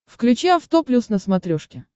включи авто плюс на смотрешке